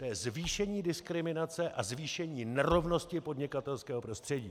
To je zvýšení diskriminace a zvýšení nerovnosti podnikatelského prostředí.